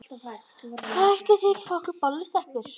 Ætlið þið ekki að fá ykkur bollu, stelpur?